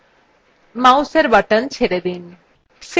mouseএর button ছেড়ে দিন